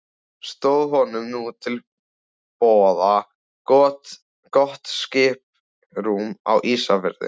Stóð honum nú til boða gott skiprúm á Ísafirði.